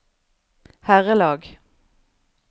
herrelag